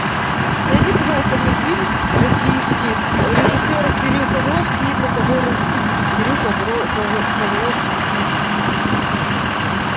найди пожалуйста мне фильм российский режиссер кирилл козловский и монтажер кирилл козловский